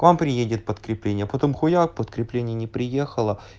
к вам приедет подкрепление потом хуяк подкрепление не приехало